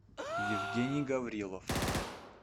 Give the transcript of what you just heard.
евгений гаврилов